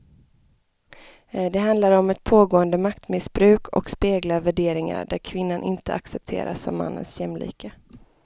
Det handlar om ett pågående maktmissbruk och speglar värderingar där kvinnan inte accepteras som mannens jämlike.